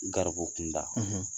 Garibu kunda